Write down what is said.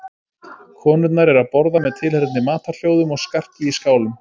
Konurnar eru að borða með tilheyrandi matarhljóðum og skarki í skálum.